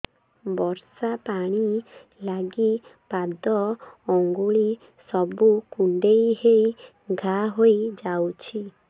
ବର୍ଷା ପାଣି ଲାଗି ପାଦ ଅଙ୍ଗୁଳି ସବୁ କୁଣ୍ଡେଇ ହେଇ ଘା ହୋଇଯାଉଛି